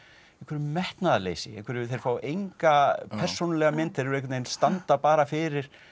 metnaðarleysi þeir fá enga persónulega mynd þeir einhvern veginn standa bara fyrir